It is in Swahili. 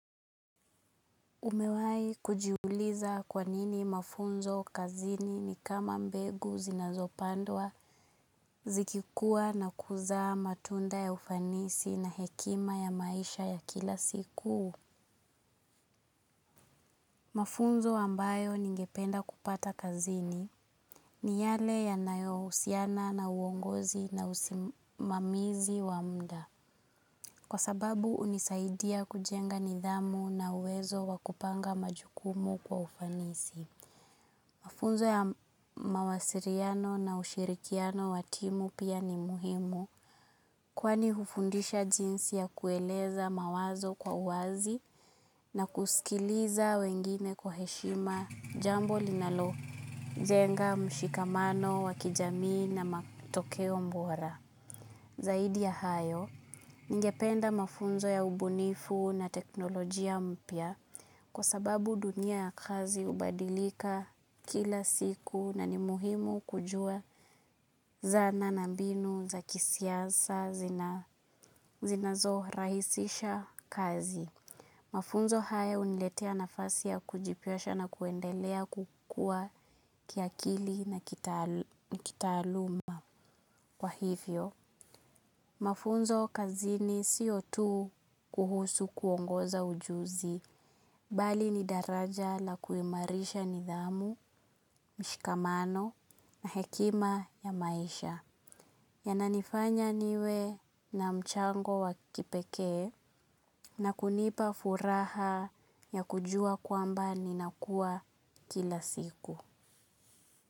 Umewai kujiuliza kwanini mafunzo kazini ni kama mbegu zinazopandwa zikikua na kuzaa matunda ya ufanisi na hekima ya maisha ya kila siku. Mafunzo wambayo ningependa kupata kazini ni yale yanayo usiana na uongozi na usimamizi wa mda. Kwa sababu unisaidia kujenga nidhamu na uwezo wakupanga majukumu kwa ufanisi. Mafunzo ya mawasiriano na ushirikiano wa timu pia ni muhimu kwani hufundisha jinsi ya kueleza mawazo kwa uwazi na kusikiliza wengine kwa heshima jambo linalojenga mshikamano wa kijamii na matokeo bora. Zaidi ya hayo, ningependa mafunzo ya ubunifu na teknolojia mpya kwa sababu dunia ya kazi hubadilika kila siku na ni muhimu kujua zana na mbinu za kisiasa zinazorahisisha kazi. Mafunzo haya huniletea nafasi ya kujipresha na kuendelea kukua kiakili na kitaaluma kwa hivyo. Mafunzo kazini sio tu kuhusu kuongoza ujuzi, bali ni daraja la kuimarisha nidhamu, mshikamano na hekima ya maisha. Yananifanya niwe na mchango wa kipekee. Na kunipa furaha ya kujua kwamba ninakuwa kila siku.